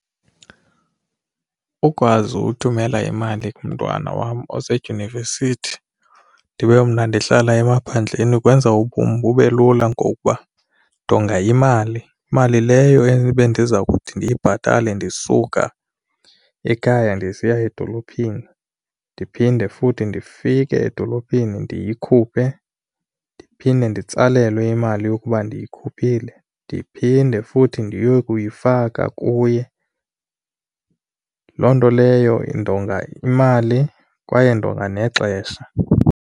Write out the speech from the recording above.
Ukwazi uthumela imali kumntwana wam osedyunivesithi ndibe mna ndihlala emaphandleni kwenza ubomi bube lula ngokuba ndonga imali, mali leyo ebe ndiza kuthi ndiyibhatale ndisuka ekhaya ndisiya edolophini, ndiphinde futhi ndifike edolophini ndiyikhuphe, ndiphinde nditsalelwe imali yokuba ndiyikhuphile ndiphinde futhi ndiye kuyifaka kuye. Loo nto leyo ndonga imali kwaye ndonga nexesha.